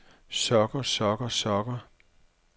sokker sokker sokker